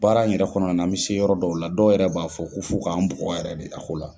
Baara in yɛrɛ kɔnɔna an mi se yɔrɔ dɔw la dɔw yɛrɛ b'a fɔ ku fo k'an bugɔ yɛrɛ de a ko la.